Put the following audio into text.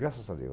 Graças a Deus.